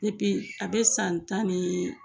a bɛ san tan ni